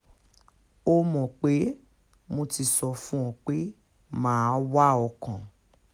ó mọ̀ pé mo ti sọ fún ọ pé mà á wá ọ kàn